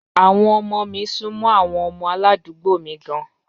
Àwọn ọmọ mi sún mọ́ àwọn ọmọ aládùúgbò mi gan-an.